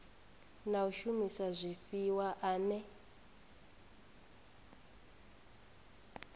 na u shumisa zwifhiwa ane